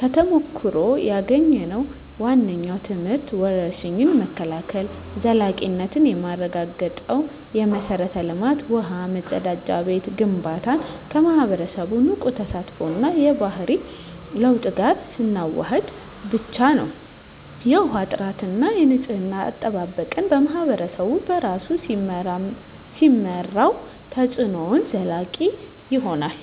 ከተሞክሮ ያገኘነው ዋነኛው ትምህርት የወረርሽኝ መከላከል ዘላቂነት የሚረጋገጠው የመሠረተ ልማት (ውሃ፣ መጸዳጃ ቤት) ግንባታን ከማኅበረሰቡ ንቁ ተሳትፎ እና የባህሪ ለውጥ ጋር ስናዋህድ ብቻ ነው። የውሃ ጥራትና የንፅህና አጠባበቅን ማኅበረሰቡ በራሱ ሲመራው፣ ተፅዕኖው ዘላቂ ይሆናል።